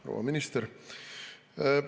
Proua minister!